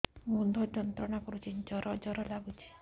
ମୁଣ୍ଡ ଯନ୍ତ୍ରଣା କରୁଛି ଜର ଜର ଲାଗୁଛି